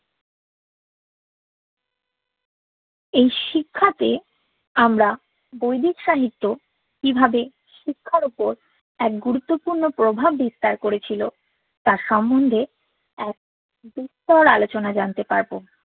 এই শিক্ষাতে আমরা বৈদিক সাহিত্য কিভাবে শিক্ষার ওপার এক গুরুত্বপূর্ণ প্র্ভাব বিস্থার কোরেছিলো তার সম্বন্ধে এক বিস্তোর অলোচনা জানতে পারব